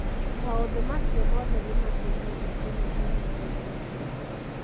Maũndũ macio mothe nĩ mateithagia kũnyihanyihia mũrimũ ũcio.